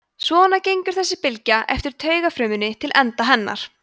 svona gengur þessi bylgja eftir taugafrumunni til enda hennar